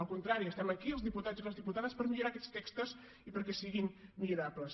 al contrari estem aquí els diputats i les diputades per millorar aquests textos i perquè siguin millorables